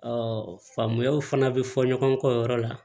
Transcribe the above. faamuyaw fana bi fɔ ɲɔgɔn kɔ o yɔrɔ la